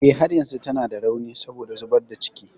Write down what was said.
Eh, har yanzu tana da rauni saboda zubar da ciki.